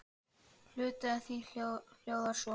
Hluti af því hljóðar svo